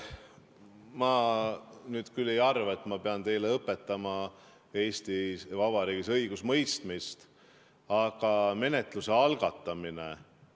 Ma nüüd küll ei arva, et ma pean teile õpetama õigusemõistmist Eesti Vabariigis, aga menetluse algatamine ...